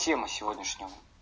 тема сегодняшнего